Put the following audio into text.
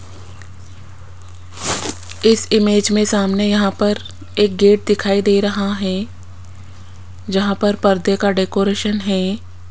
इस इमेज में सामने यहां पर एक गेट दिखाई दे रहा है जहां पर पर्दे का डेकोरेशन है।